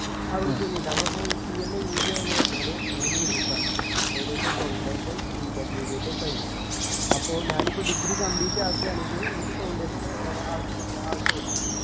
അവര്ക് വേണ്ടീട്ടാ അപ്പൊ പോയി CMA ഇന്ത്യ എന്ന് പറഞ്ഞാല് മൂന്നു group ആണ് ഏകദേശം Foundation Intermediate final അപ്പൊ ഞാനിപ്പോ degree complete ആക്കുവാണെങ്കില് എനിക്ക് Foundation ഏർ ആഹ് ആവശ്യമുണ്ടാ ആവശ്യമില്ല